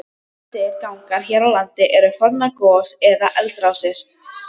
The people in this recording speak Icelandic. Flestir gangar hér á landi eru fornar gos- eða eldrásir.